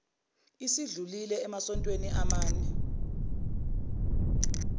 esedlulile emasontweni amane